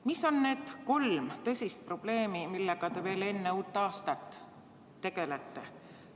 Mis on need kolm tõsist probleemi, millega te veel enne uut aastat tegelete?